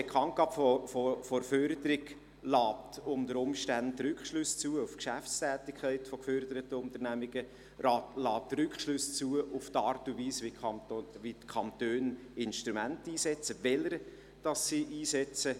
Die Bekanntgabe der Förderung lässt unter Umständen Rückschlüsse auf die Geschäftstätigkeit von geförderten Unternehmungen zu, sie lässt Rückschlüsse auf die Art und Weise zu, wie die Kantone Instrumente einsetzen, welche sie einsetzen.